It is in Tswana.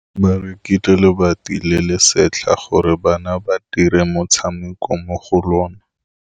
Ba rekile lebati le le setlha gore bana ba dire motshameko mo go lona.